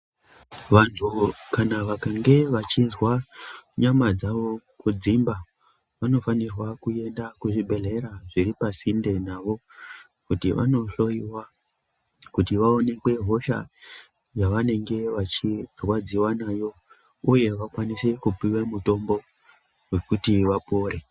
Vantu kana vakange vachinzwa nyama dzavo kudzimba vanofanirwa kuenda kuzvibhedhlera zviri pasinde navo kuti vanohloiwa kuti vaonekwe hosha yavanenge vachirwadziwa nayo uye vakwanise kupiwe mutombo wekuti vapore.